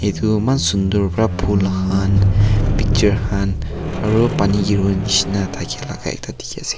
Man sundur bra bhul khan picture khan aro pani kere bo neshna thakeya laka ekta dekhe ase.